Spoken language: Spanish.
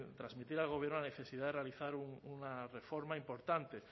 transmitir al gobierno la necesidad de realizar una reforma importante